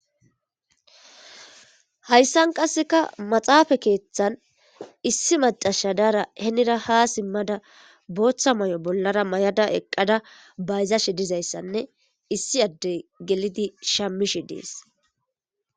Hayssan qasseka maxaafa keeththan issi macashadara henira ha simmada booththa may7o bollara may7ada eqqada bayzashe dizayssanne issi addey gelidi shamishe dees.